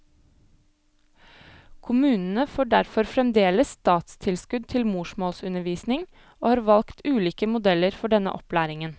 Kommunene får derfor fremdeles statstilskudd til morsmålsundervisning, og har valgt ulike modeller for denne opplæringen.